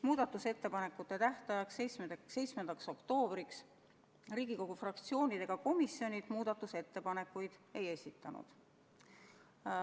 Muudatusettepanekute tähtajaks, 7. oktoobriks Riigikogu fraktsioonid ega komisjonid muudatusettepanekuid ei esitanud.